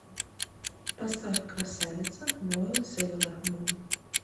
поставь красавица воин сейлор мун